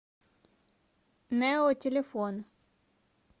нео телефон